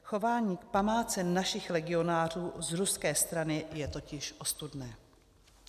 Chování k památce našich legionářů z ruské strany je totiž ostudné.